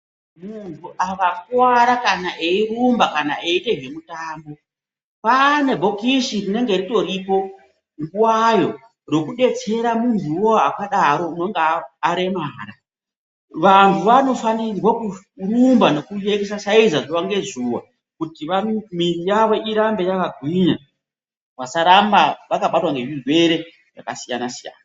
Munhu akakuwara kana eirumba kana eitezvemitambo kwaane bhokisi rinenge ritoripo nguwayo rekudetsera munhuwo akadaro unonga aremara vanhu vanofanirwe kurumba nekugwinyise mwiri zuwa ngezuwa kuti mwiri yawo irambe yakagwinya vasaramba vakabatwa ngezvirwere zvakasiyanasiyana.